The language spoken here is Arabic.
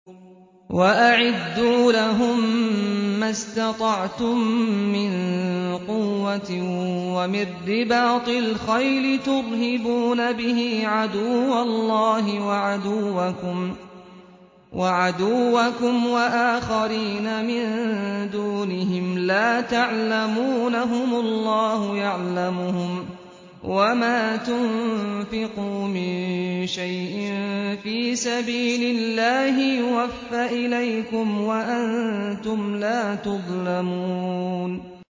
وَأَعِدُّوا لَهُم مَّا اسْتَطَعْتُم مِّن قُوَّةٍ وَمِن رِّبَاطِ الْخَيْلِ تُرْهِبُونَ بِهِ عَدُوَّ اللَّهِ وَعَدُوَّكُمْ وَآخَرِينَ مِن دُونِهِمْ لَا تَعْلَمُونَهُمُ اللَّهُ يَعْلَمُهُمْ ۚ وَمَا تُنفِقُوا مِن شَيْءٍ فِي سَبِيلِ اللَّهِ يُوَفَّ إِلَيْكُمْ وَأَنتُمْ لَا تُظْلَمُونَ